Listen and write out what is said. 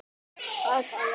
Sveinn þagði litla stund.